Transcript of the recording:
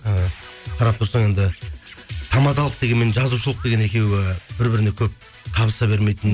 і қарап тұрсаң енді тамадалық деген мен жазушылық деген екеуі бір біріне көп табыса бермейтін